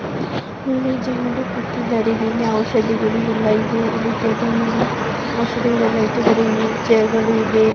ಇಲ್ಲಿ ಜನರು ಕೂತಿದ್ದಾರೆ. ಇಲ್ಲಿ ಔಷಧಿಗಳು ಎಲ್ಲ ಇದೆ. ಇಲ್ಲಿ ಟೇಬಲ್ ಮೇಲೆ ಔಷಧಿಗಳು ಎಲ್ಲ ಇಟ್ಟಿದ್ದಾರೆ. ಚೈರ್ ಗಳು ಇದೆ.